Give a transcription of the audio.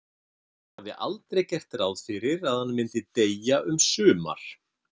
Hann hafði aldrei gert ráð fyrir að hann myndi deyja um sumar.